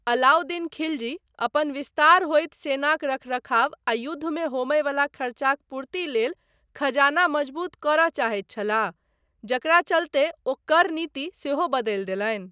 अलाउद्दीन खिलजी, अपन विस्तार होइत सेनाक रखरखाव आ युद्ध मे होमय बला खर्चाक पूर्ति लेल खजाना मजबूत करय चाहैत छलाह, जकरा चलते ओ कर नीति सेहो बदलि देलनि।